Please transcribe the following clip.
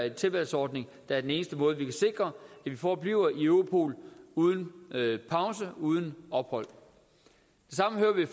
en tilvalgsordning der er den eneste måde hvorpå vi kan sikre at vi forbliver i europol uden pause uden ophold det samme hører vi